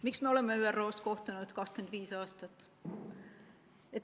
Miks me oleme ÜRO‑s kohtunud 25 aastat?